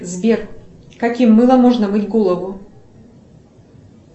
сбер каким мылом можно мыть голову